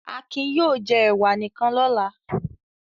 Akin yóò jẹ ẹ̀wà nìkan lọ́la.